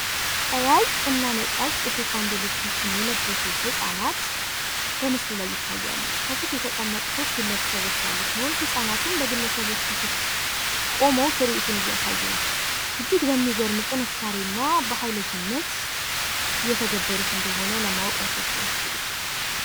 ቀያይ እና ነጫጭ የቴኳንዶ ልብሶችን የለበሱ ህፃናት በምስሉ ላይ ይታያሉ። ከፊት የተቀመጡ ሶስት ግለሰቦች ያሉ ሲሆን ህጻናቱም በግለሰቦቹ ፊት ቆመው ትርዒቱን እያሳዩ ነው። እጅግ በሚገርም ጥንካሬ እና በሃይለኝነት እየተገበሩት እንደሆነ ለማወቅ አይከብድም።